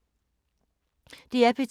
DR P2